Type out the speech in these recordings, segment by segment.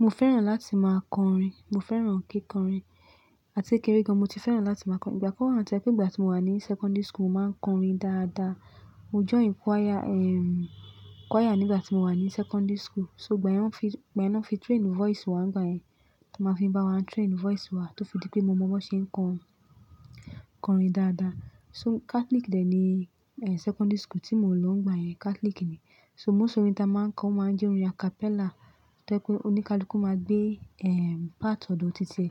Mo fẹ́ràn láti máa kọrin, mo fẹ́ràn kíkọrin. Àti kékeré gan, mo ti fẹ́ràn láti máa kọrin. Ìgbà kan wọ́n to je pé ìgbà tí mo wà ní sekondri school, mo máa ń kọrin dáadáa. Mo join choir, ehm, choir nígbà tí mo wà ní sekondri school. So ìgbà yẹn wọ́n fi, ìgbà yẹn wọ́n fi train voice wa. Ìgbà yẹn máa fi bá wa train voice wa tó fi dí pé mo mọ bí wọ́n ṣe ń kọ, kọrin dáadáa. So Catholic dè ni, eh, secondary school tí mo lọ ń gba yẹn Catholic ni. So most orin táa máa ń kọ máa ń jẹ́ orin acapella tó pé oníkálukú máa gbé, ehm, part ọ̀dọ̀ tito e,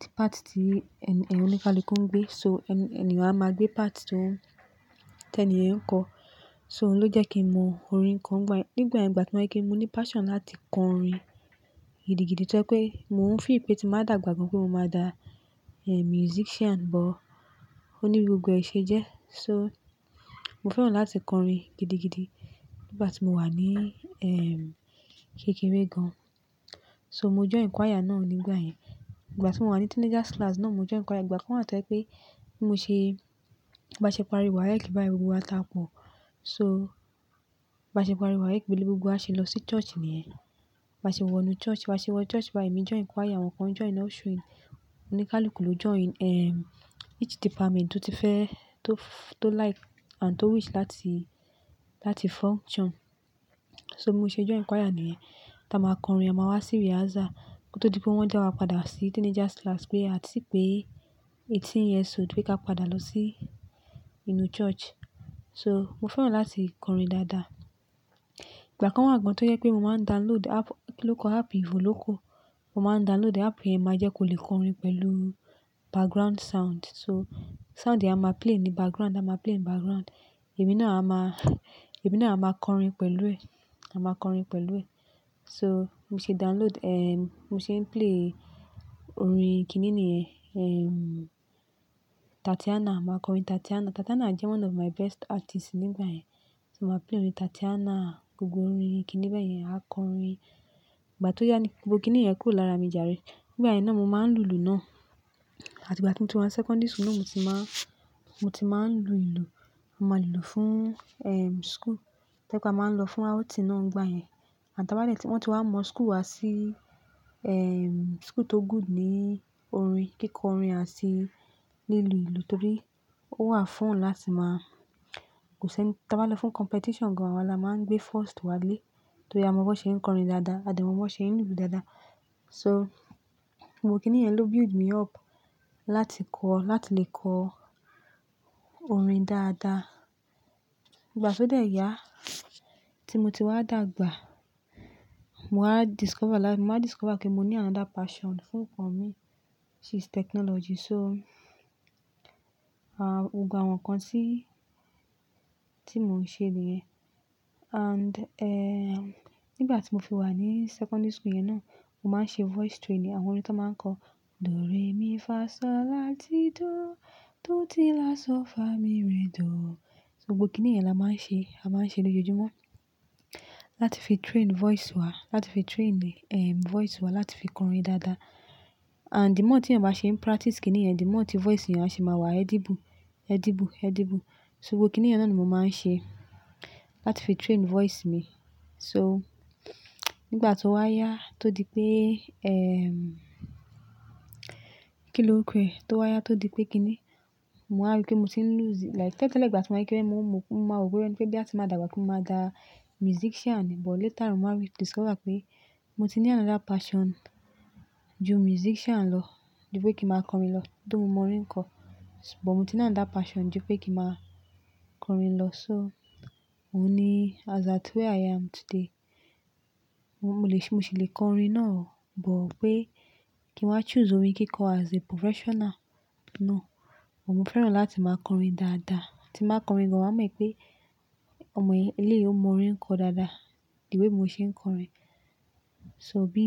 tí part tí, e-e-oníkálukú ń gbé. So ẹniyan a máa gbé part tó ń, tẹni ẹ̀ ń kọ. So òun ló jẹ́ kí mọ orin ko nígbà yen. Nígbà yẹn, ìgbà tí mo ri pe mo ní passion láti kọ orin gidi gidi tó je pé mo ń feel pé tí n ba dàgbà gan pé mo máa dà, eh, musician, but ó ní gbogbo ẹ ṣe jẹ́. So mo fẹ́ràn láti kọrin gidi gidi nígbà tí mo wà ní, ehm, kékeré gan. So mo join choir náà nígbà yẹn. Ìgbà tí mo wà ní teenagers class náà, mo join choir. Ìgbà kan wọ́n to je pé bí mo ṣe, bá ṣe parí waec báyìí, gbogbo wa taa po. So bá ṣe parí waec, bi gbogbo a ṣe lọ sí church nìyẹn. Bá ṣe wọ inú church, bá ṣe wọ church báyìí, emí join choir, àwọn kan join ushering, oníkálukú ló join, ehm, each department tó ti fẹ́, tó f-tó like and tó wish láti, láti function. So mo ṣe join choir nìyẹn. Táa máa kọrin, a máa wá sí rehearsal ko tó di pé wọ́n dá wa padà sí teenagers class pé a ti pé eighteen years old pé ká padà lọ sí inú church. So mo fẹ́ràn láti kọrin dáadáa. Ìgbà kan wọ́n gan an tó jẹ pé mo máa ń download app, kí lórukọ app igan ló ku. Mo máa ń download app yẹn máa jẹ́ kó lè kọrin pẹ̀lú background sound. So sound yìí á máa play ní background, á máa play ní background. Ẹ̀mí náà a máa, emí náà a máa kọrin pẹ̀lú ẹ̀, a máa kọrin pẹ̀lú ẹ̀. So mo ṣe download, ehm, mo ṣe ń play orin kíni níyẹn? Ehm, Tatiana, màá kọrin Tatiana. Tatiana jẹ́ one of my best artist nígbà yẹn. So màá play orin Tatiana, gbogbo orin kíni báyẹn, á kọrin. Ìgbà tó yá ni, gbogbo kíni yẹn kúrò lára mi járe. Nígbà yẹn náà mo máa ń lu ìlù náà. Àti ìgbà tí mo ti wá secondary school náà mo ti máa, mo ti máa ń lu ìlù. Mo máa ń lu fún, ehm, school. To je pe a máa ń lọ fún outing náà ń gba yẹn. Àti báálẹ̀ tí wọ́n ti wá mọ́ school wa sí, ehm, school tó good ní orin, kíkọrin àti lílù ìlù torí ó wà fún òun láti máa-- kò ṣe, taa bá lọ fún competition gan an, a wa la máa ń gbé first wálé torí a mọ bí wọ́n ṣe ń kọrin dáadáa, a dẹ̀ mọ bí wọ́n ṣe ń lu ìlù dáadáa. So gbogbo kíni yẹn ló build me up láti kọ, láti lè kọ orin dáadáa. Ìgbà tí ó dè yá tí mo ti wá dàgbà, mo wá discover láti, mo máa discover pé mo ní another passion fún ǹkan mi. Which is technology so, ah, gbogbo àwọn nǹkan tí, tí mo ń ṣe nìyẹn. And, ehm, nígbà tí mo fi wà ní secondary school yẹn náà, mo máa ń ṣe voice training. Àwọn orin tí wọ́n máa ń kọ, "Do re mi fa so la ti do, do ti la so fa mi re do." So gbogbo kíni yẹn la máa ń ṣe, a máa ń ṣe lójoojúmọ́ láti fi train voice wa, láti fi train, ehm, voice wa láti fi kọrin dáadáa. And the more tí ènìyàn bá ṣe ń practice kíni yẹn, the more tí voice ènìyàn a ṣe máa wà edible, edible, edible so gbogbo kíni yẹn náà ni mo máa ń ṣe láti fi train voice mi. So nígbà tó wá yá tó di pé, ehm, kí ló ń kù ẹ? Tó wá yá tó di pé kíni, mo wá rí pé mo ti ń lọ́sẹ̀, like tẹ́lẹ̀ tẹ́lẹ̀ ìgbà tí mo wá kéré, mo, mo, mo mọ gbogbo ẹni pé bí a bá ti máa dàgbà pé mo máa dà musician, but later mo máa rí, discover pé mo ti ní another passion ju musician lọ, ju pé kí n màá kọrin lọ. Tó mo mọ orin kọ, but mo ti ní another passion ju pé kí màá kọrin lọ. So òun ni as at where i am today. Mo lè ṣe, mo sì lè kọrin náà, but pé kí n wa choose orin kíkọ as a professional náà, kò. Mo fẹ́ràn láti máa kọrin dáadáa. Tí n ba kọrin gan, wa mọ̀ pé ọmọ yìí, eleyìí, o mọ orin kọ dáadáa. The way bi mo ṣe ń kọrin. So bí,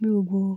bí gbogbo.